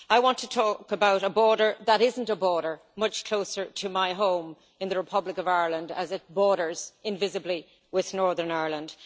I want to talk about a border that isn't a border, much closer to my home in the Republic of Ireland, as it borders invisibly with Northern Ireland.